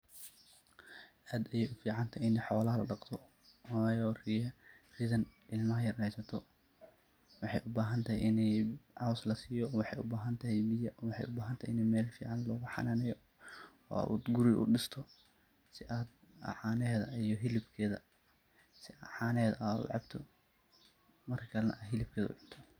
Aad ayeey uficantahay inii xoolaha ladaqdo, waayo ridhaan ilmaha yar haysato waxay ubaahantahay ini cows lasiiyo, waxaay ubahantahay biyo, inii meel fiican lagu xanaaneeyo ood guri udisto si aad caneheeda iyo hilibkeeda aad u cabto adna ucunto.